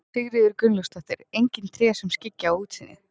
Sigríður Gunnlaugsdóttir: Engin tré sem skyggja á útsýnið?